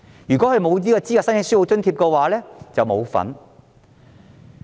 如果沒有資格申請書簿津貼，便不能受惠。